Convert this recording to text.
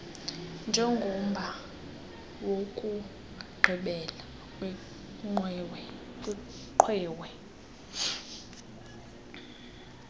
njengomba wokugqibela kwiqwewe